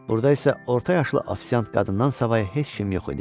Burda isə orta yaşlı ofisiant qadından savayı heç kim yox idi.